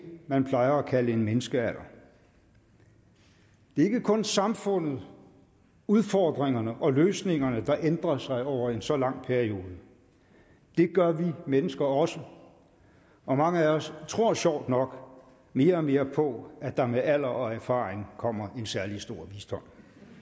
man plejer at kalde en menneskealder det er ikke kun samfundet udfordringerne og løsningerne der ændrer sig over en så lang periode det gør vi mennesker også og mange af os tror sjovt nok mere og mere på at der med alder og erfaring kommer en særlig stor visdom